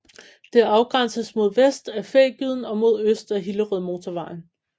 Det afgrænses mod vest af Fægyden og mod øst af Hillerødmotorvejen